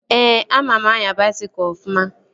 Ee, ama m anya baisikụl ofụma